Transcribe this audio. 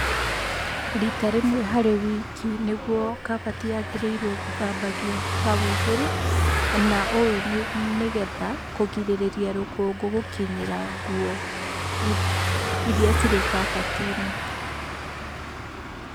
Rita rĩmwe harĩ wiki nĩguo kabati yagĩrĩirwo gũthambagio hau igũrũ, na ũũ nĩgetha kũgirĩrĩria rũkũngũ gũkinyĩra nguo iria cirĩ kabati-inĩ.